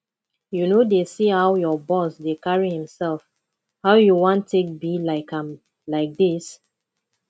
you no dey see how your boss dey carry himself how you wan take be like am like dis